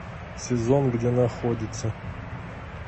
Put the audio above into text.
сезон где находится